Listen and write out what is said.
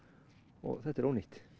og þetta er ónýtt